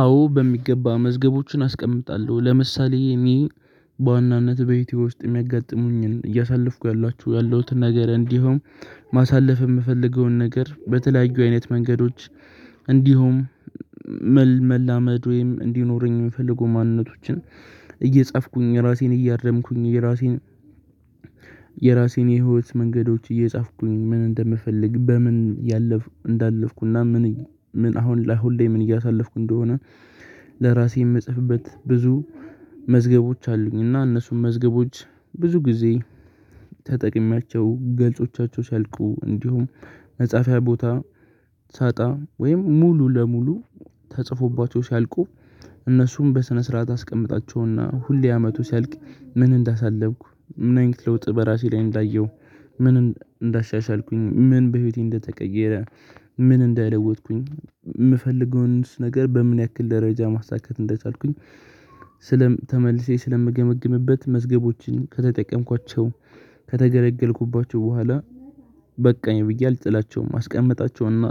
አዎ በሚገባ መዝገቦችን አስቀምጣለሁ ለምሳሌ እኔ በዋናነት ቤቴ ውስጥ የሚያጋጥሙኝን እያሳለፍኩ ያለሁትን ነገር እንዲሁም ማሳለፍ እምፈልገውን ነገር በተለያዩ አይነት መንገዶች። እንዲሁም መላመድ ወይም እንዲኖረኝ እምፈልገው ማንነቶችን። እየጻፍኩኝ ራሴን እያረምኩኝ የራሴን የራሴን የህይወት መንገዶች እየጻፍኩኝ ምን እንደምፈልግ በምን እንዳለፍኩና ምን አሁን ላይ ምን እያሳለፍኩ እንደሆነ ለራሴ እምጽፍበት ብዙ መዝገቦች አሉኝ። እና እነሱም መዝገቦች ብዙ ጊዜ ተጠቅሜያቸው ገጾቻቸው ሲያልቁ እንዲሁም መፃፊያ ቦታ ሳጣ ወይም ሙሉ ለሙሉ ተፅፎባቸው ሲያልቁ እነሱም በስነ ስርዓት አስቀምጣቸውና ሁሌ አመቱ ሲያልቅ ምን እንዳሳለፍኩ ምን አይነት ለውጥ በራሴ ላይ እንዳየሁ ምን እንዳሻሻልኩኝ ምን በህይወቴ እንደተቀየረ። ምን እንደለወጥኩኝ እምፈልገውንስ ነገር በምን ያክል ደረጃ ማሳካት እንደቻልኩኝ። ተመልሼ ስለምገመግምበት መዝገቦችን ከተጠቀምኳቸው ከተገለገልኩባቸው በኋላ በቃኝ ብዬ አልጥላቸውም አስቀመጣቸውና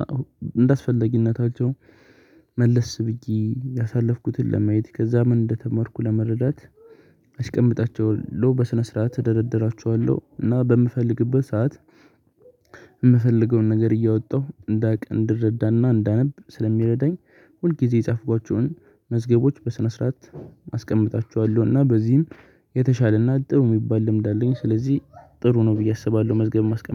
እንደአስፈላጊነታቸው መለስ ብዬ ያሳለፍኩትን ለማየት ከዛ ምን እንደተማርኩ ለመረዳት አስቀምጣቸዋለው በስነ ስርዓት እደረደራቸዋለው። እና በምፈልግበት ሰዓት እምፈልገውን ነገር እያወጣሁ እንዳውቅ እንድረዳና እንዳነብ ስለሚረዳኝ ሁል ጊዜ የጻፍኳቸውን መዝገቦች በስነ ስርዓት አስቀምጣቸዋለው እና በዚህም የተሻለና ጥሩ እሚባል ልምድ አለኝ ስለዚህ ጥሩ ነው ብዬ አስባለሁ። መዝገብ ማስቀመጥ